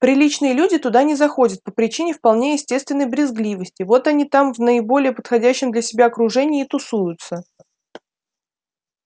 приличные люди туда не заходят по причине вполне естественной брезгливости вот они там в наиболее подходящем для себя окружении и тусуются